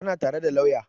Tana tare da lauya